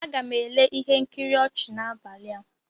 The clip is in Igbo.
Aga m ele ihe nkiri ọchị n'abalị a.